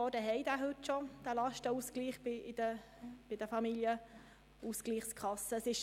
16 Kantone haben diesen Lastenausgleich bei den Familienausgleichskassen heute bereits.